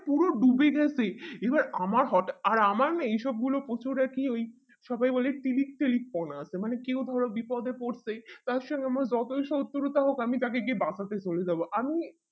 পুরো ডুবে গেছে এবার আমার হটাৎ আর আমার না এইসব গুলো প্রচুর আর কি ওই সবাই বলে silk slik পনা আছে মানে কেও ধরো বিপদে পড়তেই তার সঙ্গে আমার যতই শত্রুতা হোক আমি তাকে গিয়ে বাঁচাতে চলে যাবো আমি